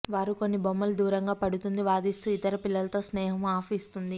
వారు అన్ని బొమ్మలు దూరంగా పడుతుంది వాదిస్తూ ఇతర పిల్లలతో స్నేహం అప్ ఇస్తుంది